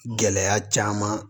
Gɛlɛya caman